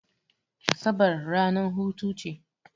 Asabar ranar hutu ce.